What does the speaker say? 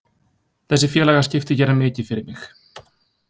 Þessi félagaskipti gera mikið fyrir mig.